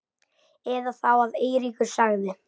Eða þá að Eiríkur sagði